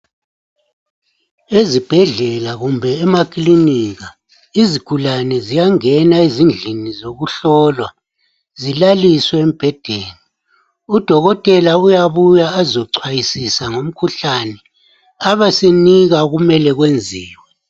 Ezibhedlela kumbe emakilinika izigulane ziyangena ezindlini zokuhlolwa zilaliswe embhedeni. Udokotela uyabuya ezichwayisisa ngomkhuhlane abesenika. okumele kwenziwe.